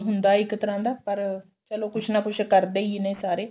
ਹੁੰਦਾ ਇੱਕ ਤਰ੍ਹਾਂ ਦਾ ਪਰ ਚਲੋ ਕੁੱਝ ਨਾ ਕੁੱਝ ਕਰਦੇ ਹੀ ਨੇ ਸਾਰੇ